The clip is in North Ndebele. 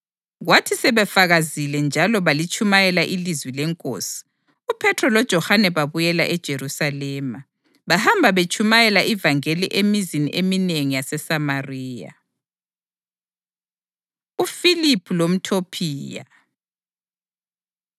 Kwathi sebefakazile njalo balitshumayela ilizwi leNkosi, uPhethro loJohane babuyela eJerusalema, bahamba betshumayela ivangeli emizini eminengi yaseSamariya. UFiliphu LomTopiya